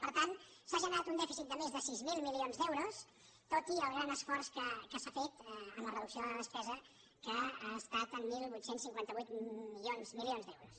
per tant s’ha generat un dèficit de més de sis mil milions d’euros tot i el gran esforç que s’ha fet en la reducció de la despesa que ha estat de divuit cinquanta vuit milions d’euros